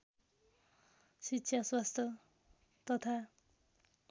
शिक्षा स्वास्थ तथा